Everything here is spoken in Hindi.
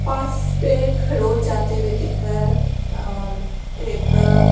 पे खरोच आते हुए दिख रहा है और एक अ--